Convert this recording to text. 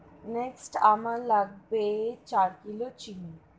Next আমার লাগবে চার কিলো চিনি।